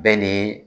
Bɛɛ ni